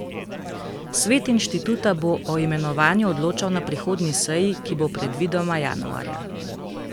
Svet inštituta bo o imenovanju odločal na prihodnji seji, ki bo predvidoma januarja.